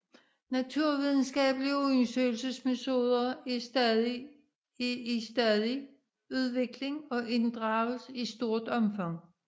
Naturvidenskabelige undersøgelsesmetoder er i stadig udvikling og inddrages i stort omfang